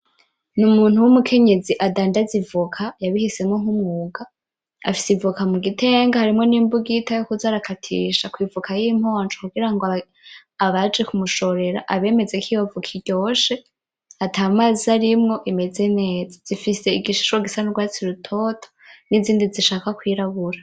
N'umuntu w'umukenyezi adandaza ivoka, yabihisemwo nk'umwuga. Afise ivoka mugitenge harimwo nimbugita yokuza arakatisha kwivoka yimponjo kugira ngo abaje kumushorera abemeze kw'iyovoka iryoshe atamazi arimwo imeza neza. Zifise igishishwa gisa n'urwatsi rutoto n’izindi zishaka kwirabura.